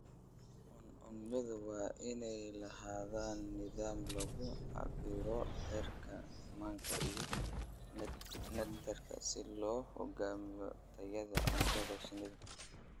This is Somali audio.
Cuncunyadu waa inay lahaadaan nidaam lagu cabbiro heerka manka iyo nectar si loo go'aamiyo tayada cuntada shinnida.